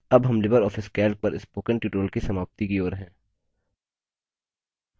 अब हम LibreOffice calc पर spoken tutorial की समाप्ति की ओर हैं